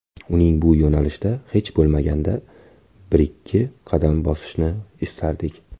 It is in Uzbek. Uning bu yo‘nalishda hech bo‘lmaganda birikki qadam bosishini istardik.